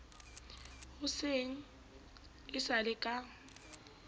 hoseng e sa le ka